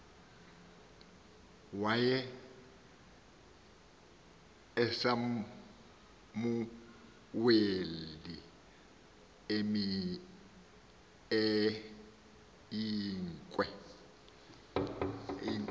waye usamuweli eyinkwe